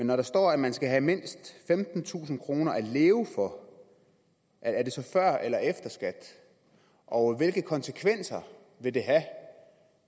når der står at man skal have mindst femtentusind kroner at leve for er det så før eller efter skat og hvilke konsekvenser vil det have